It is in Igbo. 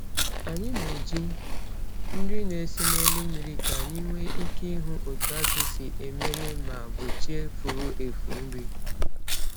Anyị na-eji nri na-esere n’elu mmiri ka anyị nwee ike ịhụ otu azụ si emere ma gbochie furu efu nri.